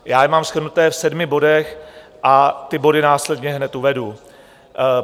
Já je mám shrnuté v sedmi bodech a ty body následně hned uvedu.